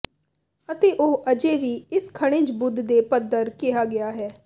ਅਤੇ ਉਹ ਅਜੇ ਵੀ ਇਸ ਖਣਿਜ ਬੁੱਧ ਦੇ ਪੱਥਰ ਕਿਹਾ ਗਿਆ ਹੈ